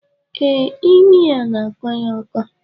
Ee imi ya n'akọ ya ọkọ